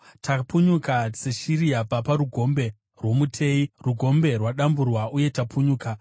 Tapunyuka seshiri yabva parugombe rwomuteyi; rugombe rwadamburwa uye tapunyuka.